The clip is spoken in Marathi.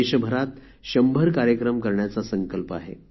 देशभरात १०० कार्यक्रम करण्याचा संकल्प आहे